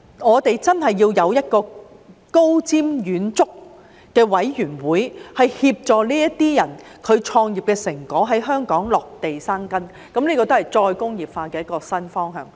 我們真的要有一個高瞻遠矚的委員會，協助這些人創業的成果在香港落地生根，這也是再工業化的一個新方向。